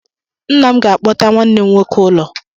Nna m ga-akpọta nwanne m nwoke ụlọ.